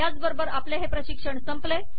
याचबरोबर आपले हे प्रशिक्षण संपले